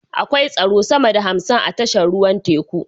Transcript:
Akwai tsaro sama da hamsin a tashar ruwan teku